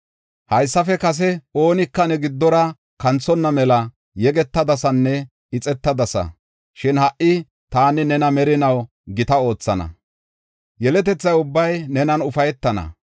“Haysafe kase oonika ne giddora kanthonna mela yegetadasanne ixetadasa. Shin ha77i taani nena merinaw gita oothana; yeletethaa ubbay nenan ufaytana.